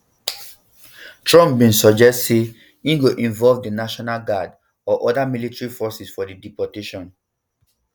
trump bin suggest say im go involve di national guard or oda military forces for di deportations